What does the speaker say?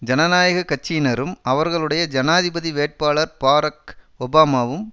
ஜனநாயக கட்சியினரும் அவர்களுடைய ஜனாதிபதி வேட்பாளர் பாரக் ஒபமாவும்